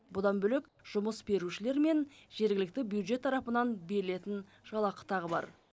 бұдан бөлек жұмыс берушілер мен жергілікті бюджет тарапынан берілетін жалақы тағы бар